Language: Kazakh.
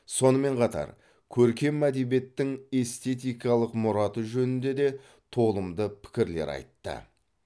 сонымен қатар көркем әдебиеттің эстетикалық мұраты жөнінде де толымды пікірлер айтты